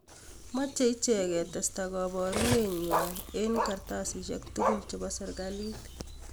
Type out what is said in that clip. Mache ichek ketesta kabarunet nenywanet eng kartasishek tugul ap serikali